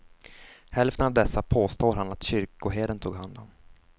Hälften av dessa påstår han att kyrkoherden tog hand om.